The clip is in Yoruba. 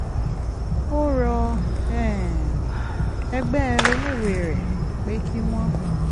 ó rọ um ẹgbẹ́ oníwèé rẹ̀ pé kí wọ́n